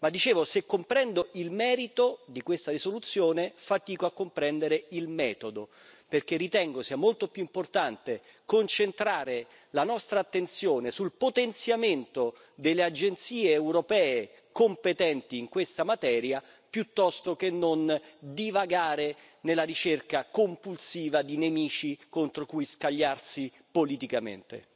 Dicevo però che, se comprendo il merito di questa risoluzione, fatico a comprendere il metodo, perché ritengo sia molto più importante concentrare la nostra attenzione sul potenziamento delle agenzie europee competenti in questa materia piuttosto che non divagare nella ricerca compulsiva di nemici contro cui scagliarsi politicamente.